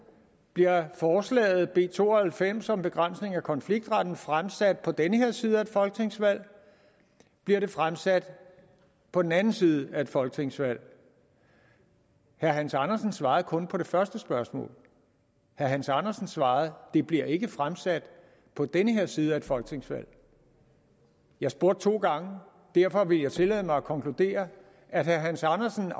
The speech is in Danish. bliver forslaget b to og halvfems om begrænsning af konfliktretten fremsat på den her side af et folketingsvalg bliver det fremsat på den anden side af et folketingsvalg herre hans andersen svarede kun på det første spørgsmål herre hans andersen svarede det bliver ikke fremsat på den her side af et folketingsvalg jeg spurgte to gange og derfor vil jeg tillade mig at konkludere at herre hans andersen